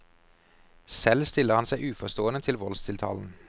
Selv stiller han seg uforstående til voldstiltalen.